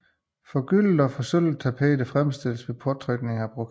Forgyldte og forsølvede tapeter fremstilles ved påtrykning af brokat